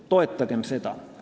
Toetagem seda!